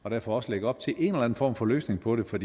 og derfor også lægger op til en form for løsning på det for